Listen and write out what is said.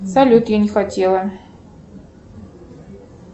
салют я не хотела